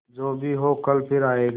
जो भी हो कल फिर आएगा